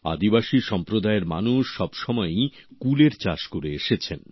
আদিবাসী সম্প্রদায়ের মানুষ সবসময়ই কুলের চাষ করে এসেছেন